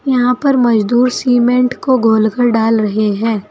यहां पर मजदूर सीमेंट को घोलकर डाल रहे हैं।